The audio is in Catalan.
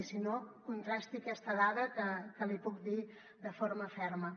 i si no contrasti aquesta dada que li puc dir de forma ferma